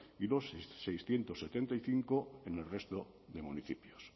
y los seiscientos setenta y cinco en el resto de municipios